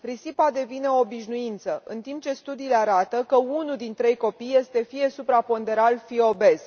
Risipa devine o obișnuință, în timp ce studiile arată că unul din trei copii este fie supraponderal, fie obez.